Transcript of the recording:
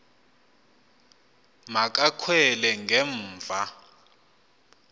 ma kakhwele ngemva